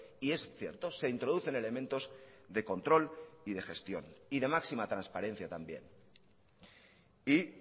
y es cierto se introducen elementos de control y de gestión y de máxima transparencia también y